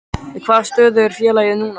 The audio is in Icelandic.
Í hvaða stöðu er félagið núna?